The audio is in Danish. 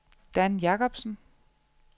Dan Jakobsen